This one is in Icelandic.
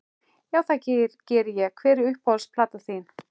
Já, það geri ég Hver er uppáhalds platan þín?